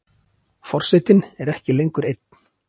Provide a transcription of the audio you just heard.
Forsetinn er ekki lengur einn.